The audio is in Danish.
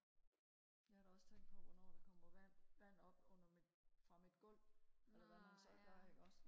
jeg har da også tænkt på hvornår der kommer vand vand op under mit fra mit gulv eller hvad man så gør ikke også